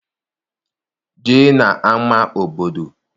Jee n'ama obodo!